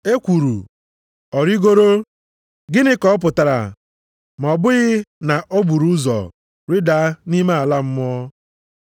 (E kwuru, “Ọ rigoro,” gịnị ka ọ pụtara ma ọ bụghị na o buru ụzọ rịdaa nʼime ala mmụọ?